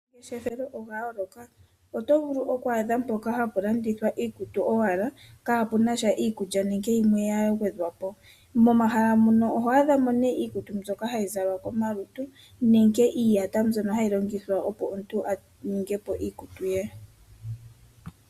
Oongeshefa odha yooloka. Oto vulu oku adha mpoka hapu landithwa iikutu owala , kaapuna iikulya nenge na yilwe ya gwedhwapo. Momahala mono oho a dhamo nee iikutu mbyoka hayi zalwa komalutu nditye iiyaya mbyono hayi longithwa opo omuntu a ninge po iikutu ye.